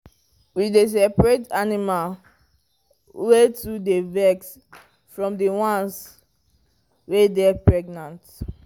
we dey seperate animal wey too dy vex from the ones wey dey pregnant